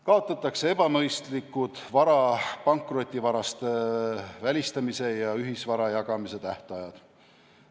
Kaotatakse ebamõistlikud vara pankrotivarast välistamise ja ühisvara jagamise tähtajad.